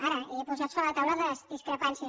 ara he posat sobre la taula les discrepàncies